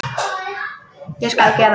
Ég skal gera það.